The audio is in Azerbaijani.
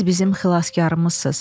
Siz bizim xilaskarımızsız.